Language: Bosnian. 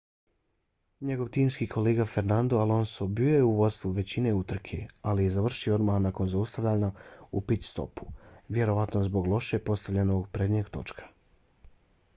njegov timski kolega fernando alonso bio je u vodstvu većinu utrke ali je završio odmah nakon zaustavljanja u pit-stopu vjerojatno zbog loše postavljenog prednjeg točka